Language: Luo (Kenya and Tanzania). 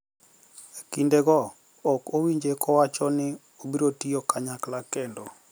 Ekinde go ok iwinje kowacho ni obiro tiyo kanyakla kendo